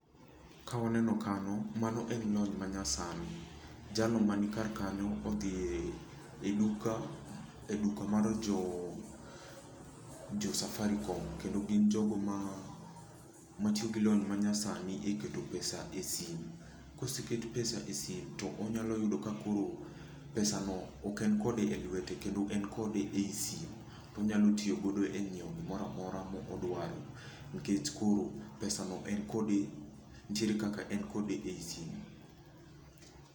Ka waneno kanyo, mano en lony manyasani. Jalno mani kar kanyo, odhi e duka, e duka mar jo Safaricom. Kendo gin jogo ma tiyo gi lony manyasani e keto pesa e simu. Koseket pesa e simu, to onyalo yudo ka koro pesa no ok en kode e lwete, kendo en kode ei simu. Onyalo tiyo godo e nyiewo gimoramora modwaro nikech koro pesa no en kode, nitie kaka en kode ei simu.